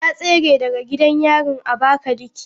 Ta tsere daga gidan yarin Abakaliki.